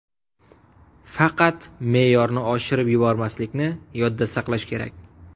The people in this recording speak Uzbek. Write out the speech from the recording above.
Faqat me’yorni oshirib yubormaslikni yodda saqlash kerak.